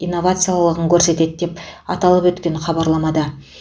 инновациялығын көрсетеді деп аталып өткен хабарламада